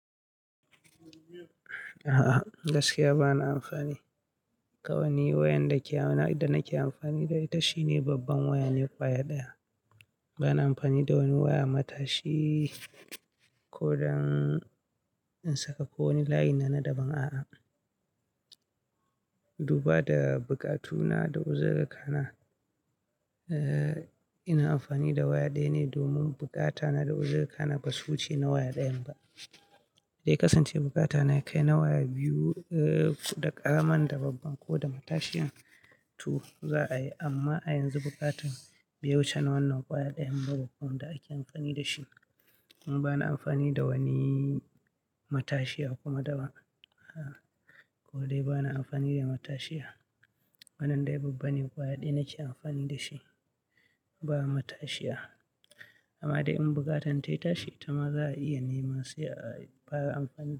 A'a, gaskiya bana amfani. Kawai wayan da ke hannuna ita nake amfani da ita shine babban waya ne, kwaya ɗaya. Bana amfani da wani waya matashi ko don in saka ko wani layi na na daban, a'a. Duba da bukatuna da uzirƙa na, eh, ina amfani da waya ɗaya ne domin buƙata na da uzirƙa na ba su wuce na waya ɗayan ba. Dai kasance bukata na ya kai na waya biyu, eh, da ƙaraman da babban ko da matashiyan tu za a yi, amma a yanzu bukatan bai wuce wannan waya ɗayan ba da aka yi amfani da shi. Kuma bana amfani da wani matashiya kuma da ba, a'a. Ko dai bana amfani da matashiya. Wannan dai babban ne kwaya ɗaya nake amfani da shi, ba matashiya. Amma dai in bukatan ta ya tashi, ta ma za a iya nema sai ayi fars amfani da shi.